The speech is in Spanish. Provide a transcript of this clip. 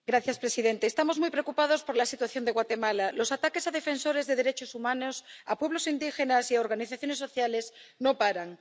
Señor presidente, estamos muy preocupados por la situación de Guatemala los ataques a defensores de los derechos humanos, a pueblos indígenas y a organizaciones sociales no paran.